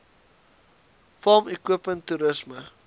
farm equipment toerisme